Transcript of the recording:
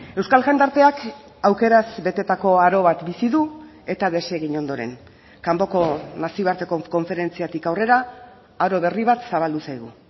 euskal jendarteak aukeraz betetako aro bat bizi du eta desegin ondoren kanpoko nazioarteko konferentziatik aurrera aro berri bat zabaldu zaigu